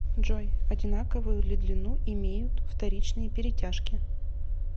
джой одинаковую ли длину имеют вторичные перетяжки